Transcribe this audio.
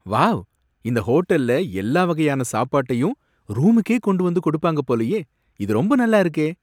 Wow! இந்த ஹோட்டல்ல எல்லா வகையான சாப்பாட்டையும் ரூமுக்கே கொண்டு வந்து கொடுப்பாங்க போலயே, இது ரொம்ப நல்லாருக்கே!